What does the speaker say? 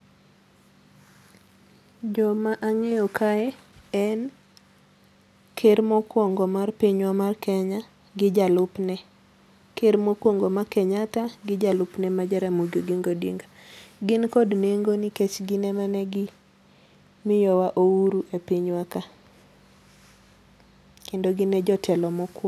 Joma ang'eyo kae en Ker mokuongo mar pinywa mar Kenya gi jalupne. Ker mokuongo ma Kenyatta gi jalupne ma Jaramogi Oginga Odinga ,gin kod nengo nikech gin emane gi miyowa uhuru e pinywa ka kendo gin e jotelo mokuongo.